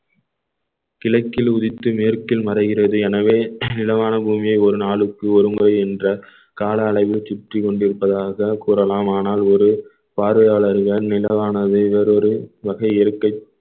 கிழக்கில் உதித்து மேற்கில் மறைகிறது எனவே நிலவான பூமியை ஒரு நாளுக்கு ஒருமுறை என்ற கால அளவில் சுற்றிக் கொண்டிருப்பதாக கூறலாம் ஆனால் ஒரு பார்வையாளர்கள் நிலவானவை வேறொரு வகை இருக்கை